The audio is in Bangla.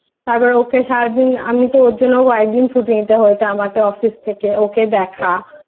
আবার ওকে সারাদিন আমি তো ওর জন্য কয়েকদিন Office থেকে ছুটি নিতে হয়েছে ওকে দেখা